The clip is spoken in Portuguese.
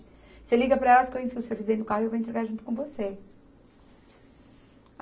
Você liga para elas que eu enfio o serviço dentro do carro e eu vou entregar junto com você.